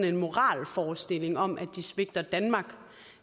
en moralforestilling om at de svigter danmark